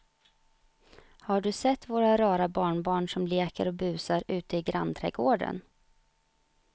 Har du sett våra rara barnbarn som leker och busar ute i grannträdgården!